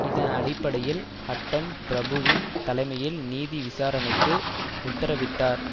இதன் அடிப்படையில் ஹட்டன் பிரபுவின் தலைமையில் நீதி விசாரணைக்கு உத்தரவிட்டார்